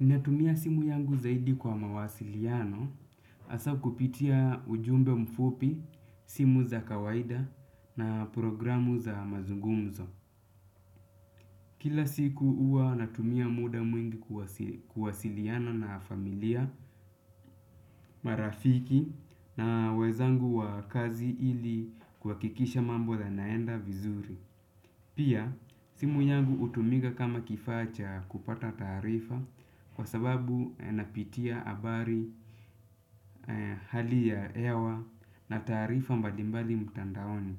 Ninatumia simu yangu zaidi kwa mawasiliano hasaa kupitia ujumbe mfupi, simu za kawaida na programu za mazungumzo. Kila siku huwa natumia muda mwingi kuwasiliano na familia, marafiki na wezangu wa kazi ili kuhakikisha mambo yanaenda vizuri. Pia, simu yangu hutumika kama kifaa cha kupata taarifa kwa sababu napitia habari hali ya hewa na taarifa mbalimbali mtandaoni.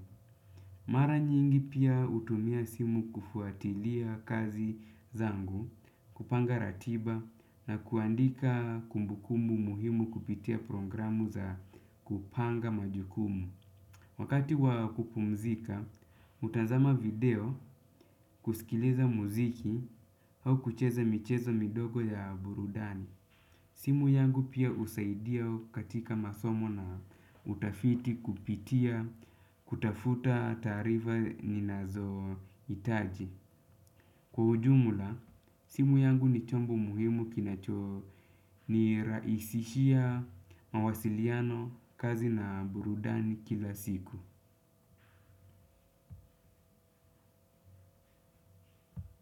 Mara nyingi pia hutumia simu kufuatilia kazi zangu, kupanga ratiba na kuandika kumbukumbu muhimu kupitia programu za kupanga majukumu. Wakati wakupumzika, hutazama video kuskiliza muziki au kucheza michezo midogo ya burudani. Simu yangu pia husaidia katika masomo na utafiti kupitia, kutafuta taarifa ninazohitaji. Kwa ujumla, simu yangu ni chombo muhimu kinachonirahisishia mawasiliano kazi na burudani kila siku.